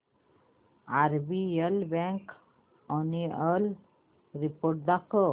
RBL bank annual report दाखव